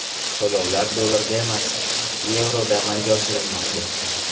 To‘lovlar dollarda emas, yevroda amalga oshirilmoqda.